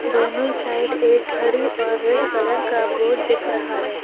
दोनों साइड एक घड़ी और रेड कलर का बोर्ड दिख रहा है।